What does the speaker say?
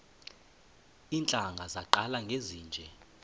iintlanga zaqala ngezinje